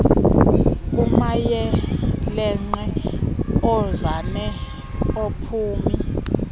kumayeelenqe oonzame noophumi